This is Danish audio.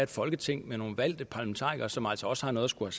folketing med nogle valgte parlamentarikere som altså også har noget at skulle